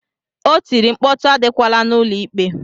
O tiri, mkpọtụ adịkwala n'ụlọ ikpe!